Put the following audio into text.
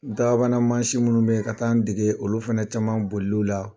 Daabamana mansinw minnu b'i ka taa n dege olu fana caman boliliw la.